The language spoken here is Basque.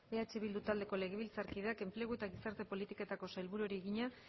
eh bildu taldeko legebiltzarkideak enplegu eta gizarte politiketako sailburuari egina